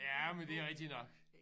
Ja men det rigtig nok